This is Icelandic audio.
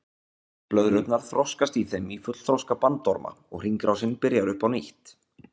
Blöðrurnar þroskast í þeim í fullþroska bandorma og hringrásin byrjar upp á nýtt.